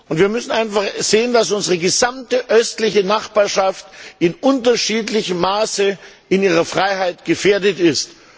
Und wir müssen einfach sehen, dass unsere gesamte östliche Nachbarschaft in unterschiedlichem Maße in ihrer Freiheit gefährdet ist.